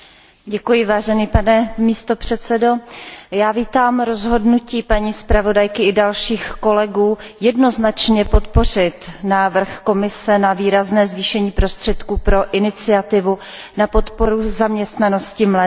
Pane předsedající, já vítám rozhodnutí paní zpravodajky i dalších kolegů jednoznačně podpořit návrh Komise na výrazné zvýšení prostředků pro Iniciativu na podporu zaměstnanosti mladých lidí.